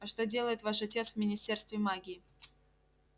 а что делает ваш отец в министерстве магии